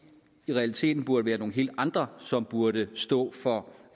i realiteten burde være nogle helt andre som burde stå for